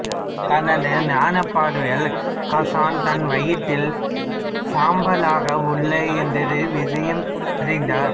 தனது ஞானப்பார்வையால் கசன் தன் வயிற்றில் சாம்பலாக உள்ளான் என்ற விஷயம் அறிந்தார்